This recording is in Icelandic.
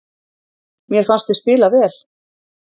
Mér fannst við spila vel